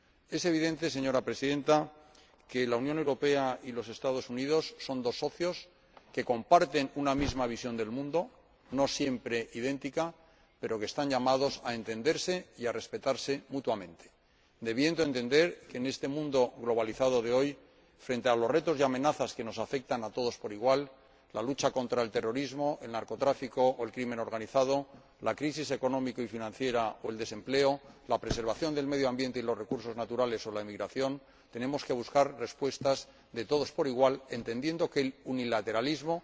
Es evidente, señora Presidenta, que la Unión Europea y los Estados Unidos son dos socios que comparten una misma visión del mundo, no siempre idéntica, pero que están llamados a entenderse y a respetarse mutuamente, debiéndose entender que en este mundo globalizado de hoy, frente a los retos y amenazas que nos afectan a todos por igual ―la lucha contra el terrorismo, el narcotráfico o el crimen organizado, la crisis económica y financiera o el desempleo, la preservación del medio ambiente y los recursos naturales o la emigración―, tenemos que buscar respuestas de todos por igual, entendiendo que el unilateralismo,